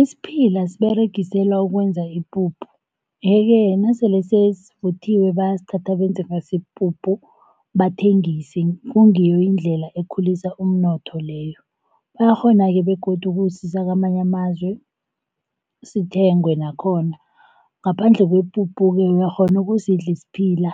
Isiphila siberegiselwa ukwenza ipuphu, yeke nasele sesivuthiwe, bayasithatha benze ngaso ipuphu bathengise kungiyo indlela ekhulisa umnotho leyo. Bayakghona-ke begodu ukusisa kwamanye amazwe sithengwe nakhona. Ngaphandle kwepuphu-ke uyakghona ukusidla isiphila.